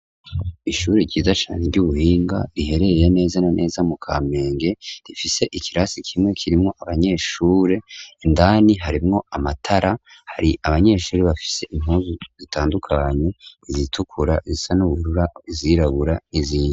Ishure ryiza cane ry'ubuhinga rihereye neza na neza mu kampenge rifise ikirasi kimwe kirimwo abanyeshure indani harimwo amatara hari abanyeshure bafise inkuzu zitandukanyo izitukura zisa n'uburura zirabura n'izindi.